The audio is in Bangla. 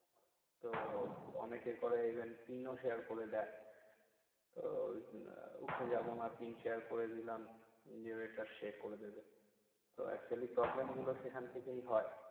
তো অনেকে করে event PIN ও share করে দেয় তো উঠে যাবো না PIN share করে দিলম। যে waiter সে এটা এ করে দিবে। তো actually problem গুলো সেখান থেকেই হয়।